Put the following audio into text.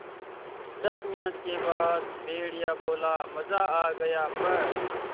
दस मिनट के बाद भेड़िया बोला मज़ा आ गया प्